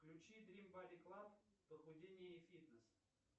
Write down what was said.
включи дрим бади клаб похудение и фитнес